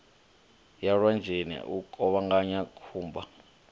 ya lwanzheni u kuvhanganya khumba